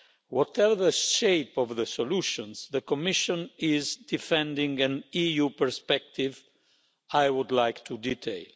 Whatever the shape of the solutions, the Commission is defending an EU perspective I would like to detail.